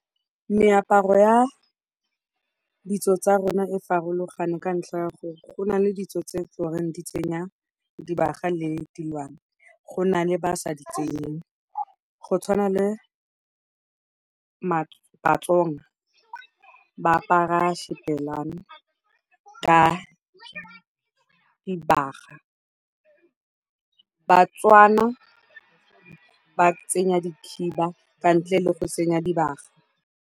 Meaparo ya ditso tsa rona e farologane ka ntlha ya gore go na le ditso tse tlo reng di tsenya dibaga le diwang. Go na le ba sa ditsenyeng. Go tshwana le Batsonga ba apara xibelane ka dibaga. Bbatswana ba tsenya dikhiba ka ntle le go senya dibaga.